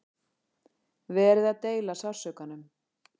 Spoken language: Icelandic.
Verið að deila sársaukanum